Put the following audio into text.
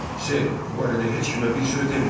Ser, bu barədə heç kimə bir söz deməyin.